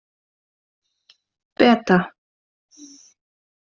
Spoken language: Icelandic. Beta